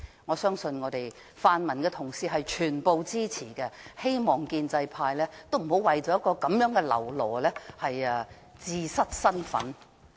我相信全部泛民同事都會支持，希望建制派不要為了一個嘍囉而自失身份。